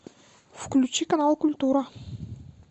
включи канал культура